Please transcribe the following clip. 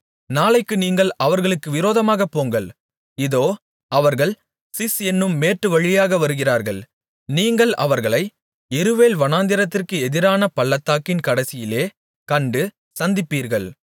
நாளைக்கு நீங்கள் அவர்களுக்கு விரோதமாகப் போங்கள் இதோ அவர்கள் சிஸ் என்னும் மேட்டுவழியாக வருகிறார்கள் நீங்கள் அவர்களை யெருவேல் வனாந்திரத்திற்கு எதிரான பள்ளத்தாக்கின் கடைசியிலே கண்டு சந்திப்பீர்கள்